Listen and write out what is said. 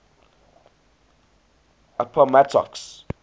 appomattox